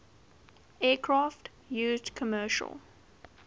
aircraft used commercial